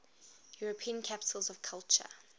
european capitals of culture